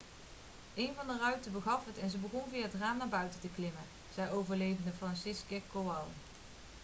'een van de ruiten begaf het en ze begonnen via het raam naar buiten te klimmen,' zei overlevende franciszek kowal